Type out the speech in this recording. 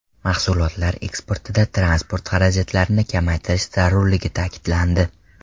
Mahsulotlar eksportida transport xarajatlarini kamaytirish zarurligi ta’kidlandi.